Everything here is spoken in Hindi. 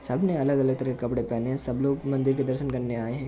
सब ने अलग-अलग तरह के कपड़े पहने हैं। सब लोग मंदिर के दर्शन करने आए हैं।